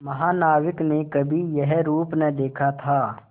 महानाविक ने कभी यह रूप न देखा था